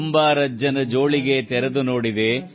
ಕುಂಬಾರಜ್ಜನ ಜೋಳಿಗೆ ತೆರೆದು ನೋಡಿದೆ